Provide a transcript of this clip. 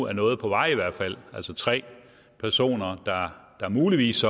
er noget på vej altså tre personer der så muligvis